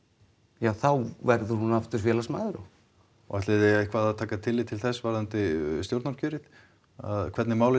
ja þá verður hún aftur félagsmaður og og ætliði eitthvað að taka tillit til þess varðandi stjórnarkjörið hvernig málin